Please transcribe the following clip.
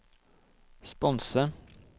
sponse